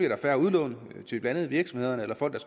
der færre udlån til blandt andet virksomhederne eller folk